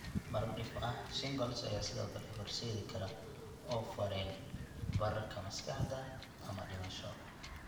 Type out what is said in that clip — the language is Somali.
Marar dhif ah, shingles ayaa sidoo kale u horseedi kara oof wareen, bararka maskaxda (encephalitis), ama dhimasho.